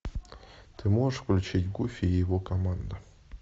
ты можешь включить гуфи и его команда